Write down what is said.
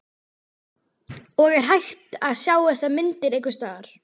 Og er hægt að sjá þessar myndir einhvers staðar?